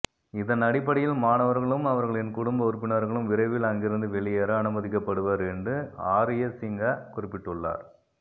இதன் அடிப்படையில் மாணவர்களும் அவர்களின் குடும்ப உறுப்பினர்களும் விரைவில் அங்கிருந்து வெளியேற அனுமதிக்கப்படுவர் என்று ஆரியசிங்ஹ குறிப்பிட்டுள்ளார்